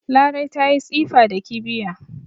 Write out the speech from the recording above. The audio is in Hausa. Larai ta yi tsifa da kibiya